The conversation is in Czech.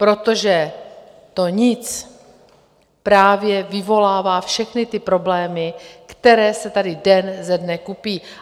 Protože to nic právě vyvolává všechny ty problémy, které se tady den ze dne kupí.